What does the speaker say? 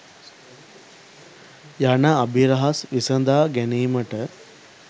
යන අභිරහස් විසදා ගැනීමට